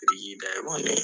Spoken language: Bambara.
Biriki da